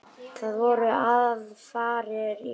Það voru aðfarir í lagi!